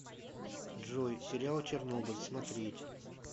джой сериал чернобыль смотреть